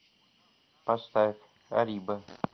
поставь арриба